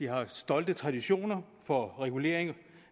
har stolte traditioner for regulering